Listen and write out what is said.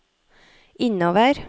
innover